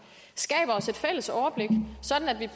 skaber os et fælles overblik sådan at vi